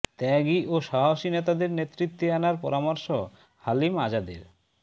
ত্যাগী ও সাহসী নেতাদের নেতৃত্বে আনার পরামর্শ হালিম আজাদের